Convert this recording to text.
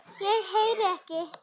ég heyri ekki.